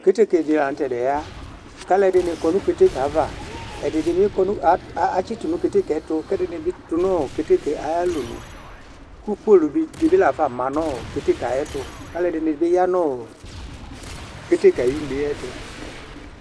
Keteke dila nutɛya, kalʊ dʊ keteke ƴɛ ayava Ɛdɩnɩbi atsɩtʊ nu keteke ɛtu, kɛdinɩbi tu nʊ keteke ƴɛ ayalɔnʊ Ku polʊ dibi lafa ma nu keteke ƴɛ tu Alʊɛdinɩ bu ya nu keteke ayu neyɛ tu